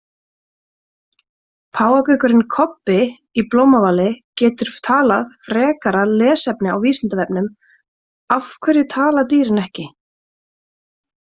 Páfagaukurinn Kobbi í Blómavali getur talað Frekara lesefni á Vísindavefnum: Af hverju tala dýrin ekki?